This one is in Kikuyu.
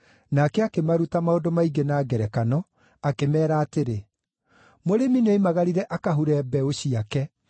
Nake akĩmaruta maũndũ maingĩ na ngerekano, akĩmeera atĩrĩ: “Mũrĩmi nĩoimagarire akahure mbeũ ciake.